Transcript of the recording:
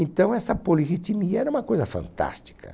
Então essa polirritimia era uma coisa fantástica.